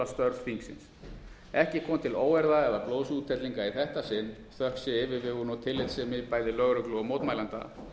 störf þingsins ekki kom til óeirða eða blóðsúthellinga í þetta sinn þökk sé yfirvegun og tillitssemi bæði lögreglu og mótmælenda